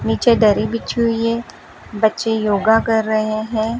नीचे दरी बिछी हुई है बच्चे योगा कर रहे हैं।